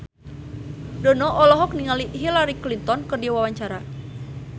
Dono olohok ningali Hillary Clinton keur diwawancara